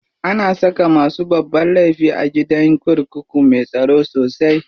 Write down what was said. Ana saka masu babban laifi a gidan kurkuku me tsaro sosai.